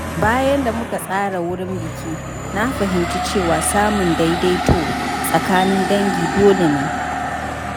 Bayan da muka tsara wurin biki, na fahimci cewa samun daidaito tsakanin dangi dole ne.